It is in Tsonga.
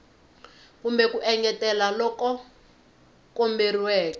kumbe ku engetela loku komberiweke